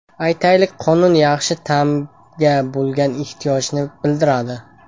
Aytaylik, quyun yaxshi ta’mga bo‘lgan ishtiyoqni bildiradi.